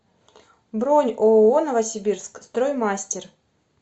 бронь ооо новосибирск строймастер